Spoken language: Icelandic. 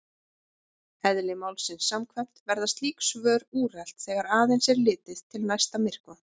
Eðli málsins samkvæmt verða slík svör úrelt þegar aðeins er litið til næsta myrkva.